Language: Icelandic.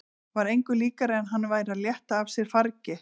Var engu líkara en hann væri að létta af sér fargi.